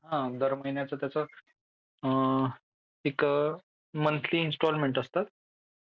दर महिन्याचा त्याचं एक मंथली इन्स्टॉलमेंट असतं.